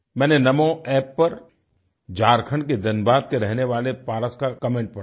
मैंने नामो App पर झारखण्ड के धनबाद के रहने वाले पारस का कमेंट पढ़ा